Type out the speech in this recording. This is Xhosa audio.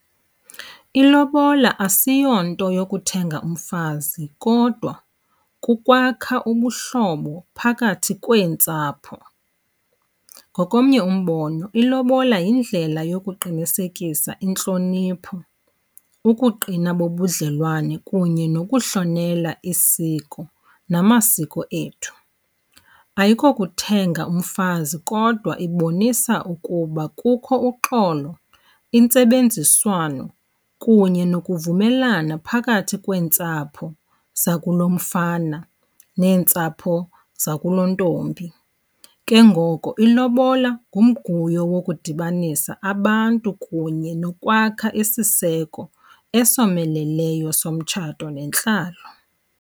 Ilobola asiyonto yokuthenga umfazi kodwa kukwakha ubuhlobo phakathi kweentsapho. Ngokomnye umbono ilobola yindlela yokuqinisekisa intlonipho, ukuqina bobudlelwane kunye nokuhlonela isiko namasiko ethu. Ayikokuthenga umfazi kodwa ibonisa ukuba kukho uxolo, intsebenziswano kunye nokuvumelana phakathi kweentsapho zakulomfana neentsapho zakulontombi. Ke ngoko ilobola ngumguyo wokudibanisa abantu kunye nokwakha isiseko esomeleleyo somtshato nentlalo.